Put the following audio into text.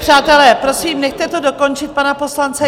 Přátelé, prosím, nechte to dokončit pana poslance.